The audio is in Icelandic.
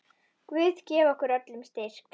Guð gefi okkur öllum styrk.